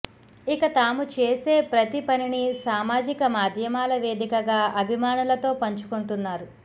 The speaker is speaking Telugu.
ఇక తాము చేసే ప్రతి పనిని సామాజిక మాధ్యమాల వేదికగా అభిమానులతో పంచుకొంటున్నారు